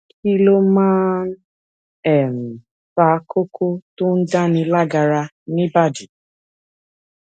kí ló máa ń um fa koko tó ń dáni lágara ni ibadi